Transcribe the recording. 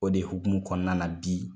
O de hukumu kɔnɔna na bi